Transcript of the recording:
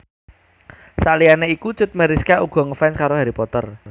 Saliyané iku Cut Meyriska uga ngefans karo Harry Potter